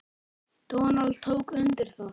Donald tók undir það.